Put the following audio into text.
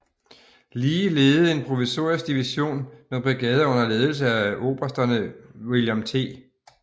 Lee ledede en provisorisk division med brigader under ledelse af obersterne William T